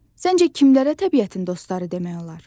Sizcə kimlərə təbiətin dostları demək olar?